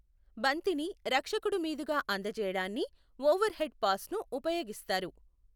బంతిని రక్షకుడు మీదుగా అందచేయడాన్ని ఓవర్ హెడ్ పాస్ను ఉపయోగిస్తారు.